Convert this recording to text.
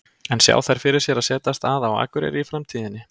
En sjá þær fyrir sér að setjast að á Akureyri í framtíðinni?